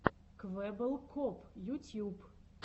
квеббел коп ютьюб